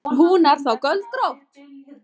Hún er þá göldrótt!